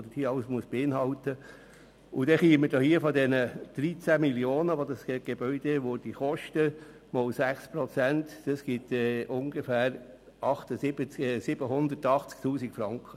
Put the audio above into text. Dann käme man bei den 13 Mio. Franken, die das Gebäude kosten würde, multipliziert mit 6 Prozent auf ungefähr 780 000 Franken.